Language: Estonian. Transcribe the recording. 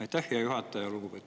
Aitäh, hea juhataja!